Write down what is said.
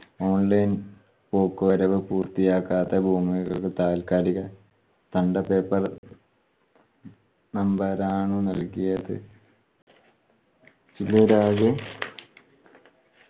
online പോക്കുവരവ് പൂർത്തിയാക്കാത്ത ഭൂമിയുടെ താൽക്കാലിക ആണ് നൽകിയത്.